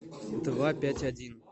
два пять один